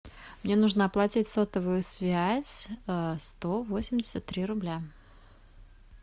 мне нужно оплатить сотовую связь сто восемьдесят три рубля